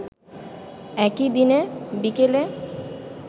একই দিন বিকেলে